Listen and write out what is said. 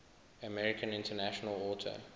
american international auto